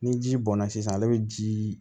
Ni ji bɔnna sisan ale bɛ ji